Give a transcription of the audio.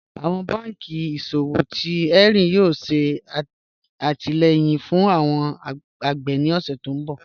Awọn bànkí iṣọ̀wọ̀ tí Hẹnri yóò ṣè àtìlẹ̀yìn fún awọn agbè ni oṣù ti ǹ bọ̀